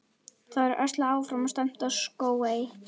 Það var öslað áfram og stefnt á Skógey.